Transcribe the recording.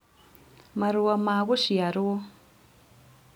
marũa ma gũciarwo